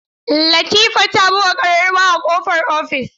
Latifa ta buga ƙararrawa a ƙofar ofis.